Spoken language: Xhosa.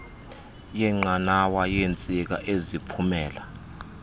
yenqanawa yeentsika eziphumela